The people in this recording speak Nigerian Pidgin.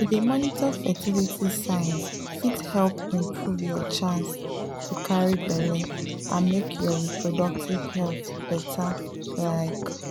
to dey monitor fertility signs fit help improve your chance to carry belle and make your reproductive health better like.